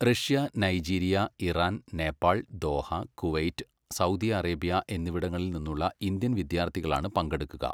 Russia, Nigeria, Iran, Nepal, Doha, Kuwait, Saudi Arabia എന്നിവിടങ്ങളിൽ നിന്നുള്ള Indian വിദ്യാർത്ഥികളാണ് പങ്കെടുക്കുക.